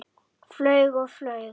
Flaug og flaug.